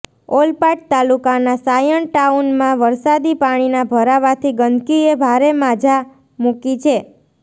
ઓલપાડ તાલુકાના સાયણ ટાઉનમાં વરસાદી પાણીના ભરાવાથી ગંદકીએ ભારે માજા મુકી છે